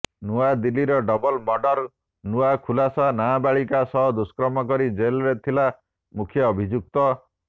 ନୂଆଦିଲ୍ଲୀର ଡବଲ୍ ମର୍ଡର୍ର ନୂଆ ଖୁଲାସା ନାବାଳିକା ସହ ଦୁଷ୍କର୍ମ କରି ଜେଲରେ ଥିଲା ମୁଖ୍ୟ ଅଭିଯୁକ୍ତ